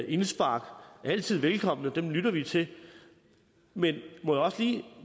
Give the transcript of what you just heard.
indspark altid velkomne dem lytter vi til men må jeg også lige